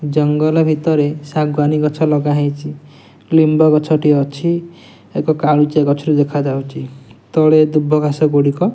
ଜଙ୍ଗଲ ଭିତରେ ଶାଗୁଆନି ଗଛ ଲଗାହେଇଚି। ଲିମ୍ବ ଗଛ ଟିଏ ଅଛି। ଏକ କାଳୁଚିଆ ଗଛ ଟିଏ ଦେଖା ଯାଉଚି। ତଳେ ଦୁବଘାସ ଗୁଡ଼ିକ --